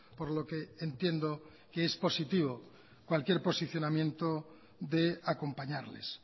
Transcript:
por lo que entiendo que es positivo cualquier posicionamiento de acompañarles